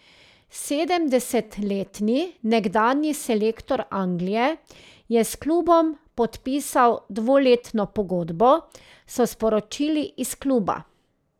Sedemdesetletni nekdanji selektor Anglije je s klubom podpisal dvoletno pogodbo, so sporočili iz kluba.